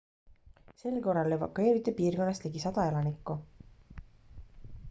sel korral evakueeriti piirkonnast ligi 100 elanikku